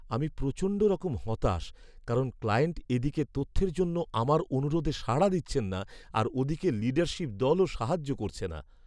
আমি প্রচণ্ডরকম হতাশ কারণ ক্লায়েন্ট এদিকে তথ্যের জন্য আমার অনুরোধে সাড়া দিচ্ছেন না আর ওদিকে লিডারশীপ দলও সাহায্য করছে না।